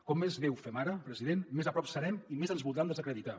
com més bé ho fem ara president més a prop serem i més ens voldran desacreditar